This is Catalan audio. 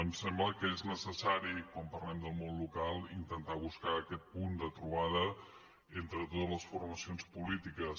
em sembla que és necessari quan parlem del món local intentar buscar aquest punt de trobada entre totes les formacions polítiques